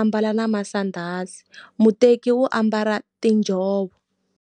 ambala na masandhazi. Muteki wu ambala tinjhovo.